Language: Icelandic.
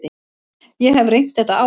Ég hef reynt þetta áður.